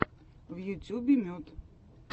в ютьюбе мед